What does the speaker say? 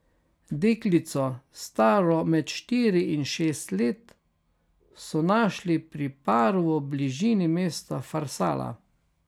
Deklico, staro med štiri in šest let, so našli pri paru v bližini mesta Farsala.